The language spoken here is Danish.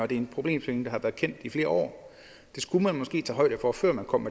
det er en problemstilling der har været kendt i flere år det skulle man måske tage højde for før man kom